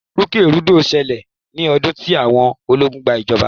ìrúkèrudo ṣẹlẹ̀ ní ọdún tí àwọn ológun gba ìjọba.